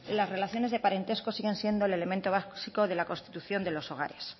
las relaciones de parentesco siguen siendo el elemento básico de la constitución de los hogares